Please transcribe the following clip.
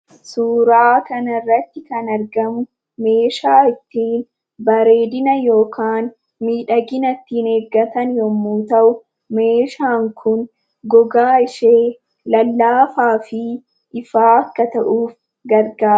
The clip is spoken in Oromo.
Suuraa kanarratti kan argamu meeshaa ittiin bareedina yookaan miidhagina ittiin eeggatan yemmuu ta'u meeshaan kun gogaa ishee lallaafaa fi ifaa akka ta'uuf gargaara.